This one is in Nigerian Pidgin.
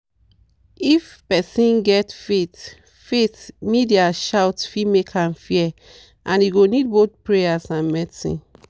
if person get faith faith media shout fit make am fear and e go need both prayer and medicine.